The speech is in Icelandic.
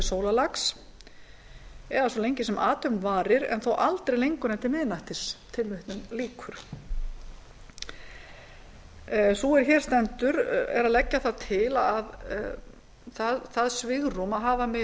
sólarlags eða svo lengi sem athöfn varir en þó aldrei lengur en til miðnættis sú er hér stendur er að leggja það til að það svigrúm að hafa megi